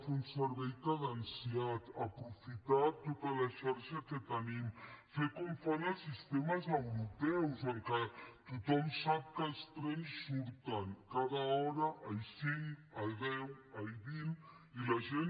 fer un servei cadenciat aprofitar tota la xarxa que tenim fer com fan els sistemes europeus en què tothom sap que els trens surten cada hora a i cinc a i deu a i vint i la gent